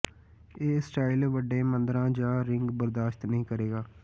ਇਹ ਸਟਾਈਲ ਵੱਡੇ ਮੁੰਦਰਾ ਜ ਰਿੰਗ ਬਰਦਾਸ਼ਤ ਨਹੀ ਕਰੇਗਾ